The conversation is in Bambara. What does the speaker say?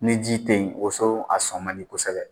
Ne ji tɛ yen woso a sɔn man di kosɛbɛ